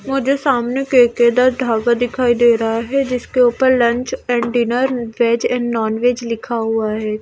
मुझे सामने केकेदा धाबा दिखाई दे रहा है जिसके ऊपर lunch and dinner veg and non veg लिखा हुआ है ।